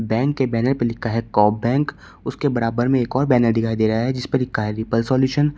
Bank के banner पे लिखा है कोप बैंक उसके बराबर में एक और बैनर दिखाई दे रहा है जिसपे लिखा है पीपल सॉल्यूशन ।